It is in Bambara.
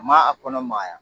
Ma a kɔnɔ magaya